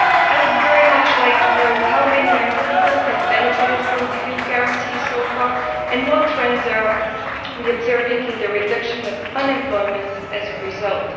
I would very much like to know how many young people have benefited from the Youth Guarantee so far, and what trends we are observing in the reduction of unemployment as a result.